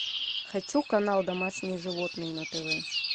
хочу канал домашние животные на тв